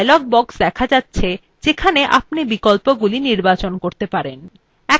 একটি dialog box দেখা যাচ্ছে যেখানে আপনি বিকল্পগুলি নির্বাচন করতে পারেন